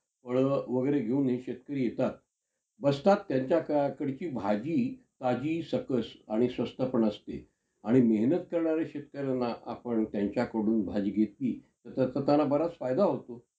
आह त्या serial मध्ये खूप त्या~ त्या दोघांना वेगळं करण्याचं हे म्हणजे असे हे आलेले आहेत. पण त्या~ त्याच्यातपण सगळे actor खूप छान आहेत. तर